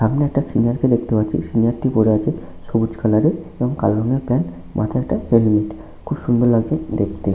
সামনে একটা সিনিয়ার -কে দেখতে পাচ্ছি। সিনিয়ার -টি পড়ে আছে সবুজ কালার -এর এবং কালো রংয়ের প্যান্ট মাথায় একটা হেলমেট । খুব সুন্দর লাগছে দেখতে ।